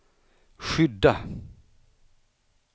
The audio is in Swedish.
skydda